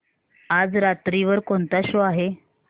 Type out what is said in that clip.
आज रात्री वर कोणता शो आहे